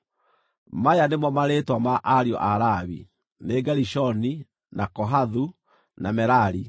Maya nĩmo marĩĩtwa ma ariũ a Lawi: Nĩ Gerishoni, na Kohathu, na Merari.